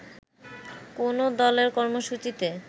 কোনো দলের কর্মসূচিতে